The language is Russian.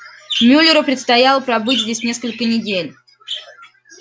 мюллеру предстояло пробыть здесь несколько недель